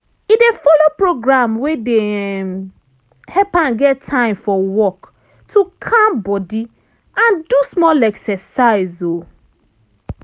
e dey follow program wey dey um help am get time for work to calm body and do small exercise. um